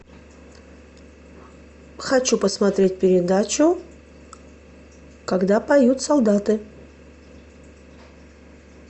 хочу посмотреть передачу когда поют солдаты